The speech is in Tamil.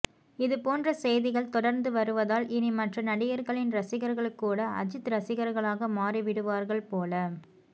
இது போன்ற செய்திகள் தொடர்ந்து வருவதால் இனி மற்ற நடிகர்களின் ரசிகர்கள் கூட அஜித் ரசிகர்களாக மாறிவிடுவார்கள் போல